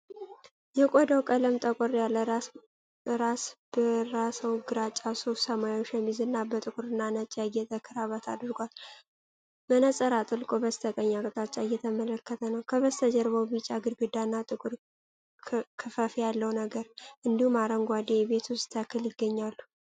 የቆዳው ቀለም ጠቆር ያለ ራሰ በራ ሰው ግራጫ ሱፍ፣ ሰማያዊ ሸሚዝና በጥቁርና ነጭ ያጌጠ ክራባት አድርጓል። መነጽር አጥልቆ በስተቀኝ አቅጣጫ እየተመለከተ ነው። ከበስተጀርባው ቢጫ ግድግዳና ጥቁር ክፈፍ ያለው ነገር፣ እንዲሁም አረንጓዴ የቤት ውስጥ ተክል ይገኛሉ።